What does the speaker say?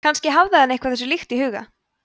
kannski hafði hann eitthvað þessu líkt í huga